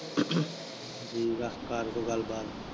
ਠੀਕ ਆ ਕਰ ਕੋਈ ਗਲਬਾਤ।